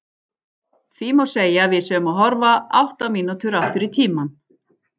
Því má segja að við séum að horfa átta mínútur aftur í tímann.